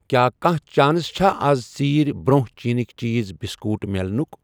کیٛاہ کانٛہہ چانس چھا اَز ژیٖرؠ برٛونٛہہ چیٖٚنٕکؠ چیٖز، بِسکوٗٹ مِلنُکھ۔